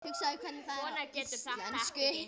Svona getur þetta ekki gengið.